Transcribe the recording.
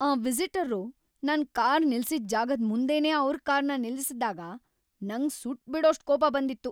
ಆ ವಿಸಿಟರ್ರು ನನ್ ಕಾರ್ ನಿಲ್ಸಿದ್ ಜಾಗದ್ ಮುಂದೆನೇ ಅವ್ರ್ ಕಾರ್‌ನ ನಿಲ್ಲಿಸ್ದಾಗ ನಂಗ್‌ ಸುಟ್ಬಿಡೋಷ್ಟ್ ಕೋಪ ಬಂದಿತ್ತು.